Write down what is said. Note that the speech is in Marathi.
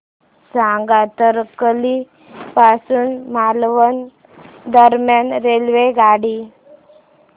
सांगा तारकर्ली पासून मालवण दरम्यान रेल्वेगाडी